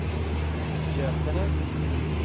Götene